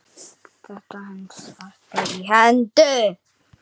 Þetta helst alltaf í hendur.